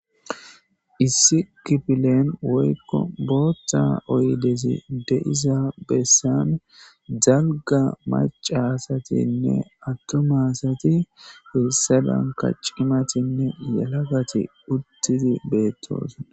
Issi kifile woykko booththa oyddezi de7iza bessan dalgga macca asatinne attuma asati hessadankka cimmatinne yelagati uutidi beetoosona.